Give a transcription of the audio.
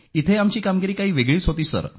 इथे आमची कामगिरी काही वेगळीच होती सर